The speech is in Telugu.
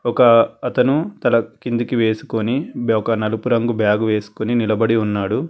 ఒక అతను తల కింద వెస్కొని ఒక నలుపు రంగు బ్యాగ్ వెస్కొని నిలబడి ఉన్నాడు.